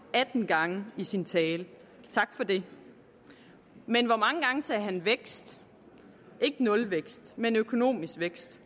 atten gange i sin tale tak for det men hvor mange gange sagde han vækst ikke nulvækst men økonomisk vækst